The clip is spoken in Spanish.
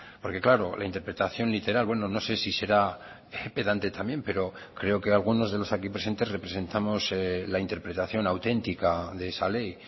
porque claro la interpretación literal bueno no sé si será pedante también pero creo que algunos de los aquí presentes representamos la interpretación auténtica de esa ley